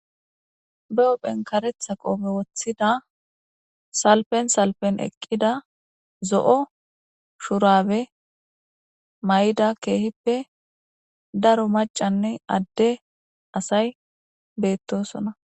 Ba huphen karetja qope wothida salfen salfen eqda kehippe daro macanne ade asay beetosona